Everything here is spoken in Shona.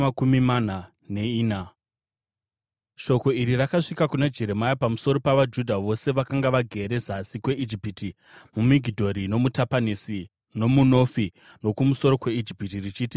Shoko iri rakasvika kuna Jeremia pamusoro pavaJudha vose vakanga vagere zasi kweIjipiti, muMigidhori nomuTapanesi nomuNofi, nokumusoro kweIjipiti, richiti,